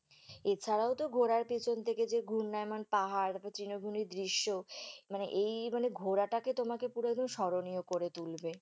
এছাড়াও তো ঘোরার পেছন থেকে যে ঘূর্ণায়মান পাহাড়, তৃণভূমির দৃশ্য, মানে এই মানে ঘোরাটাকে তোমাকে পুরো একদম স্মরণীয় করে তুলবে